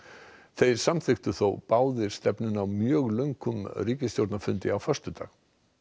þeir samþykktu þó báðir stefnuna á mjög löngum ríkisstjórnarfundi á föstudag